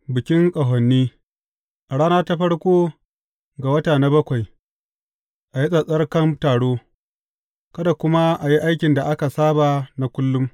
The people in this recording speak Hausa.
Bikin Ƙahoni A rana ta farko ga wata na bakwai, a yi tsattsarkan taro, kada kuma a yi aikin da aka saba na kullum.